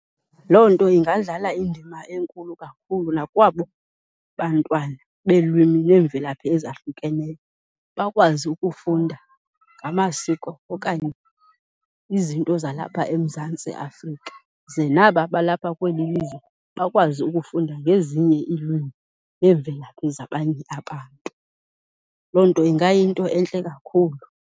Loo nto ingadlala indima enkulu kakhulu nakwabo bantwana beelwimini neemvelaphi ezahlukeneyo, bakwazi ukufunda ngamasiko okanye izinto zalapha eMzantsi Afrika, ze naba balapha kweli lizwe bakwazi ukufunda ngezinye iilwimi neemvelaphi zabanye abantu. Loo nto ingayinto entle kakhulu.